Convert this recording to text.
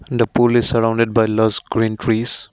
the pool surrounded by lost green trees.